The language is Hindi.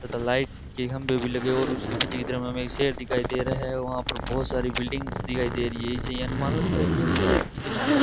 तथा लाइट की खंभे भी लगे और उसके पीछे इधर में हमें शहर दिखाई दे रहे है वहां पर बहुत सारी बिल्डिंग्स दिखाई दे रही है इसे यहां मानो लगता है ये शहर के किनारे है।